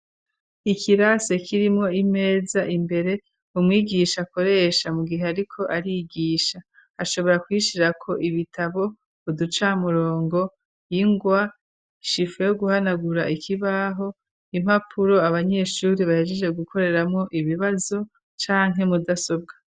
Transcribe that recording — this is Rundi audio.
Ikirase ,kirimwo, imeza imbere ,umwigisha akoresha mu gihe ariko arigisha ashobora kwishirako ibitabo ,uducamurongo ,ingwa shifo yo guhanagura ikibaho, impapuro abanyeshuri bahejeje gukoreramwo ibibazo canke mudasobwa.